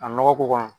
A nɔgɔ ko kɔnɔ